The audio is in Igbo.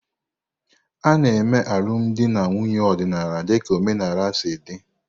A na-eme alụmdi na nwunye ọdịnala dịka omenala si dị.